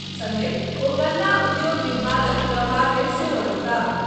संगहि ओ गन्ना उद्योग विभागक प्रभार मे सेहो रहताह।